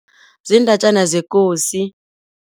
Ziindatjana zekosi.